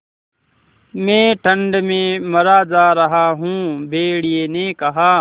मैं ठंड में मरा जा रहा हूँ भेड़िये ने कहा